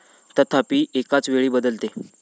तथापि, एकाच वेळी बदलते.